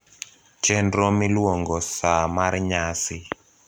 chenro miluongo saa mar nyasi